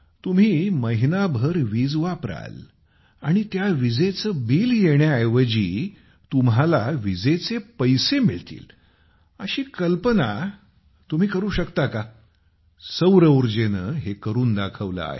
तुम्ही महिनाभर वीज वापराल आणि त्या विजेचे बिल येण्याऐवजी तुम्हाला विजेचे पैसे मिळतील अशी कल्पना तुम्ही करू शकता का सौरऊर्जेनेहे करूनदाखवले आहे